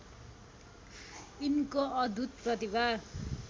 यिनको अद्युत् प्रतिभा